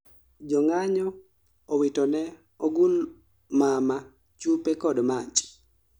jo ng'anyo owitone ogul mama chupe kod mach